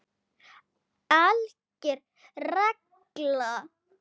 ALGER REGLA